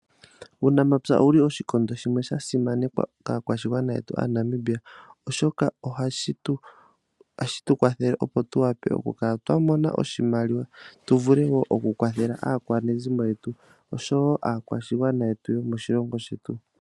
Uunamapya owuli oshikondo shimwe sha simanekwa kaakwashigwana yetu aaNamibia oshoka ohashi tu kwathele opo tu wape oku kala twa mona oshimaliwa tu vule wo oku kala twa kwathela aakwanezimo yetu oshowo aakwashigwana yetu yomoshilongo shetu.